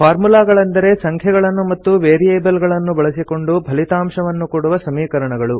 ಫಾರ್ಮುಲಾಗಳೆಂದರೆ ಸಂಖ್ಯೆಗಳನ್ನು ಮತ್ತು ವೇರಿಯೇಬಲ್ ಗಳನ್ನು ಬಳಸಿಕೊಂಡು ಫಲಿತಾಂಶವನ್ನು ಕೊಡುವ ಸಮೀಕರಣಗಳು